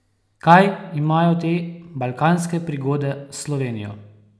Kaj imajo te balkanske prigode s Slovenijo?